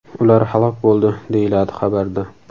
Ular halok bo‘ldi”, – deyiladi xabarda.